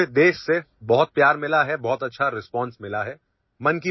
ہمیں پورے ملک سے بہت پیار ملا ہے اور بہت اچھا رسپانس ملا ہے